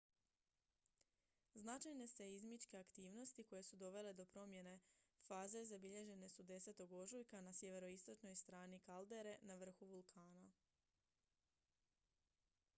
značajne seizmičke aktivnosti koje su dovele do promjene faze zabilježene su 10. ožujka na sjeveroistočnoj strani kaldere na vrhu vulkana